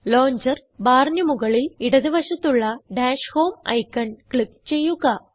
launcher ബാറിന് മുകളിൽ ഇടത് വശത്തുള്ള ഡാഷ് ഹോം ഐക്കൺ ക്ലിക്ക് ചെയ്യുക